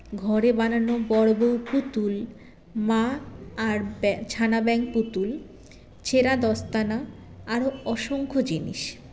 ঘরে বানানো বর বৌ পুতুল মা আর ব্য ছানা ব্যাঙ পুতুল ছেড়া দস্তানা আরও অসংখ্য জিনিস